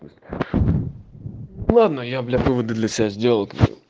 ладно я блять выводы для себя сделал